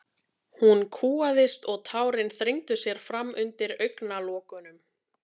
Hún kúgaðist og tárin þrengdu sér fram undir augnalokunum.